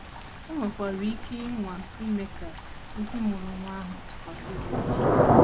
O nwekwara ike ịnwa ime ka ndị mụrụ nwa ahụ tụkwasị ya obi.